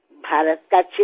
কি কি ত্যাগ কৰিব লাগে